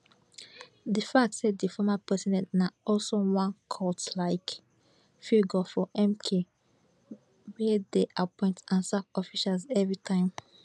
di fact say di former president na also one cultlike figure for mk wey dey appoint and sack officials evritime